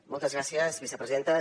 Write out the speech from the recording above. moltes gràcies vicepresidenta